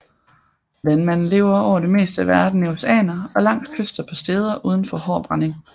Vandmanden lever over det meste af verden i oceaner og langs kyster på steder uden for hård brænding